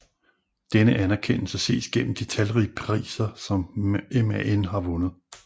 Denne anerkendelse ses gennem de talrige priser som MAN har vundet